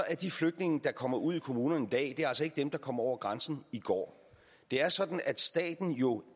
er de flygtninge der kommer ud i kommunerne i dag altså ikke dem der kom over grænsen går det er sådan at staten jo